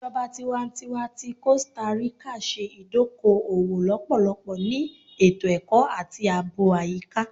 Ijọba tiwantiwa ti Costa Rica ṣe idoko-owo lọpọlọpọ ni eto-ẹkọ ati aabo ayika